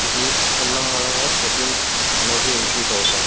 ఇది తినడం మూలంగా ప్రోటీన్స్ అనేది ఇంక్రిస్ అవుతుంది.